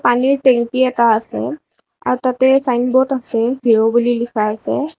পানীৰ টেংকি এটা আছে আৰু তাতে ছাইনব'ৰ্ড আছে ভিউ বুলি লিখা আছে।